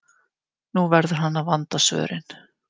Nú verður hann að vanda svörin.